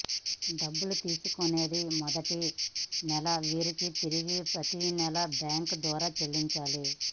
డబ్బులు తీసుకునేది మొదటి నెల వీరికి తిరిగి ప్రతినెల బ్యాంక్ ద్వారా చెల్లించాలి